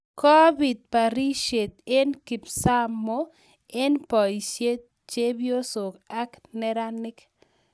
Kopit barishiet eng kipsamoo eng boisiek, chepyosok ak neranik.